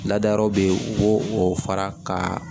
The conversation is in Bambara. Ladayɔrɔ be yen u b'o o fara ka